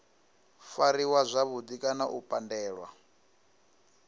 fariwa zwavhudi kana u pandelwa